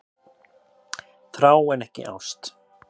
Þrá en ekki ást